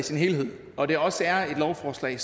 sin helhed og det også er et lovforslag